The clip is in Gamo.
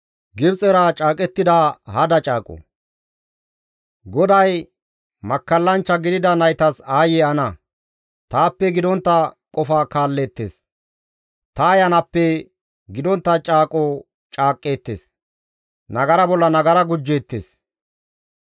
GODAY, «Makkallanchcha gidida naytas aayye ana! taappe gidontta qofa kaalleettes; ta Ayanappe gidontta caaqo caaqqeettes; nagara bolla nagara gujjeettes.